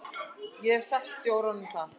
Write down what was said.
Ég hef sagt stjóranum það.